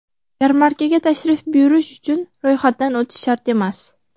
Yarmarkaga tashrif buyurish uchun ro‘yxatdan o‘tish shart emas.